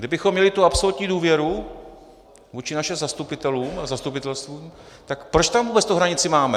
Kdybychom měli tu absolutní důvěru vůči našim zastupitelům a zastupitelstvům, tak proč tam vůbec tu hranici máme?